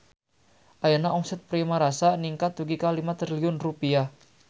Ayeuna omset Primarasa ningkat dugi ka 5 triliun rupiah